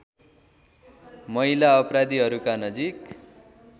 महिला अपराधीहरूका नजिक